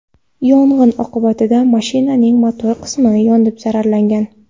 Yong‘in oqibatida mashinaning motor qismi yonib zararlangan.